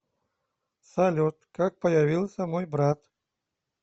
салют как появился мой брат